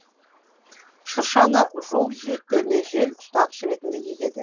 шыршаны жол жиектеріне жел ұстағыш ретінде егеді